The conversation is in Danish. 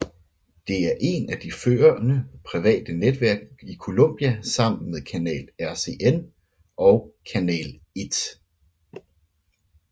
Det er et af de førende private netværk i Colombia sammen med Canal RCN og Canal 1